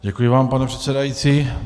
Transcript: Děkuji vám, pane předsedající.